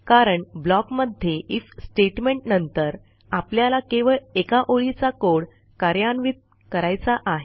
कारण ब्लॉक मध्ये IF statement नंतर आपल्याला केवळ एका ओळीचा कोड कार्यान्वित करायचा आहे